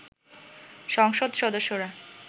সংসদ সদস্যরা